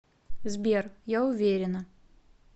сбер я уверена